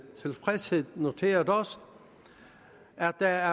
tilfredshed noteret os at der